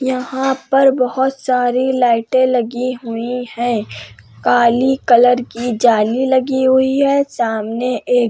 यहाँ पर बहोत सारी लाइटे लगी हुई हैं। काली कलर की जाली लगी हुई है। सामने एक --